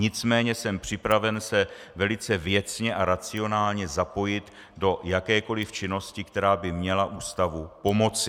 Nicméně jsem připraven se velice věcně a racionálně zapojit do jakékoliv činnosti, která by měla ústavu pomoci.